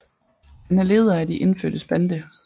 Han er leder af de indfødtes bande